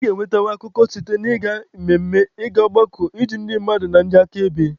A ga-enwetanwu akụkọ site na ịga mmemme, ị ga ọgbakọ, ịjụ ndị mmadụ na ndị aka ebe wdg.